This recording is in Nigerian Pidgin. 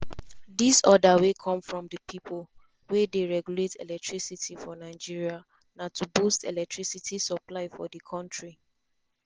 dis order wey come from di pipo wey dey regulate electricity for nigeria na to boost electricity supply for di kontri.